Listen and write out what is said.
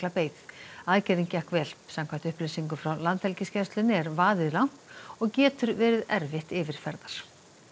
beið aðgerðin gekk vel samkvæmt upplýsingum frá Landhelgisgæslunni er vaðið langt og getur verið erfitt yfirferðar